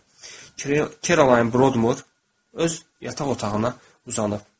Kerolayn Brodmur öz yataq otağına uzanıb.